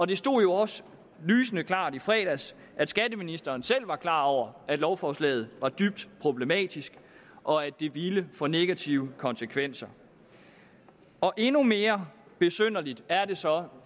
det stod jo også lysende klart i fredags at skatteministeren selv var klar over at lovforslaget var dybt problematisk og at det ville få negative konsekvenser endnu mere besynderligt er det så